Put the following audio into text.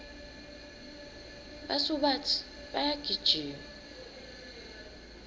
basubatsi bayagijima